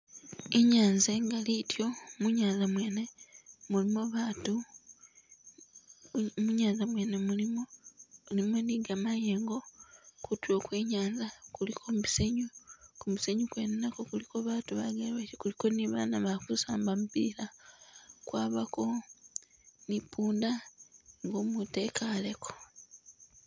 I'nyanza i'gali ityo, munyanza mwene mulimo abaatu, munyanza mwene mulimo, mulimo ni gamayengo, kutuulo kwe nyanza kuliko musenyu, gu musenyu kwene kuliko abaatu bagekhe, kuliko ni abaana bali ku saamba mupila, kwabako ni punda ngo mutu a'kaleko